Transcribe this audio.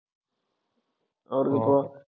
അവർക്കിപ്പോൾ